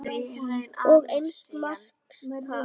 Og eins marks tap.